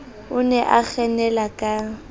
o ne a kgenela ka